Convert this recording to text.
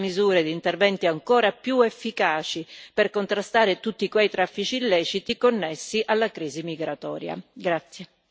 Ma occorre anche attivare misure e interventi ancora più efficaci per contrastare tutti quei traffici illeciti connessi alla crisi migratoria.